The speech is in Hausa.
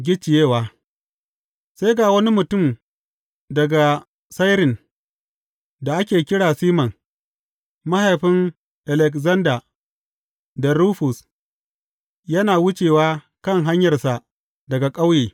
Gicciyewa Sai ga wani mutum daga Sairin da ake kira Siman, mahaifin Alekzanda da Rufus, yana wucewa kan hanyarsa daga ƙauye.